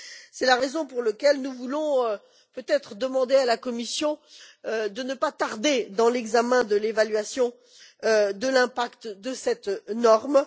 C'est la raison pour laquelle nous voulons peut être demander à la Commission de ne pas tarder dans l'examen de l'évaluation de l'impact de cette norme.